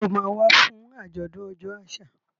Ṣé o máa wá fún àjọ̀dún ọjọ́ àṣà?